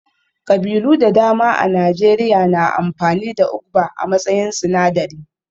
Ƙabilu da dama a Najeriya na amfani da Ugba a matsayin sinadari